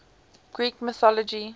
greek mythology